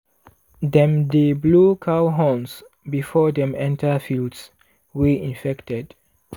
dem dey blow cow horns before dem enter fields wey infected.